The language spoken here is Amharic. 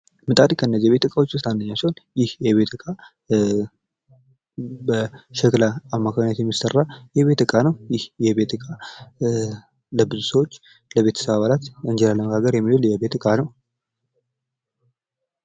ምጣድ ከእነዚህ ከቤት ዕቃዎች ውስጥ አንደኛው ሲሆን ምጣድ በሸክላ አማካኝነት የሚሠራ የቤት ዕቃ ነው። ይህ የቤት እቃ ለብዙ ሰዎች ለቤተሰብ አባላት እንጀራ ለመጋገር የሚሆን የቤት ዕቃ ነው።